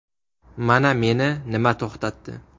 Mana meni nima to‘xtatdi.